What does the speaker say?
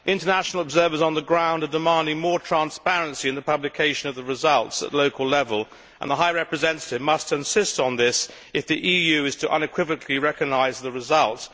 International observers on the ground are demanding more transparency and the publication of the results at local level, and the High Representative must insist on this if the EU is to unequivocally recognise the results.